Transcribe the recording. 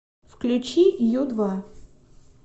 включи ю два